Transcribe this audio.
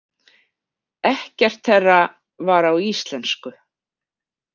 Ekkert þeirra var á íslensku.